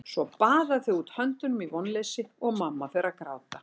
Svo baða þau út höndunum í vonleysi og mamma fer að gráta.